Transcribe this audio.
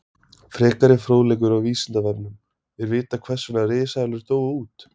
Frekari fróðleikur á Vísindavefnum: Er vitað hvers vegna risaeðlur dóu út?